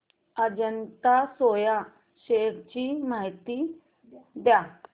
Ajanta soya shares ची माहिती द्या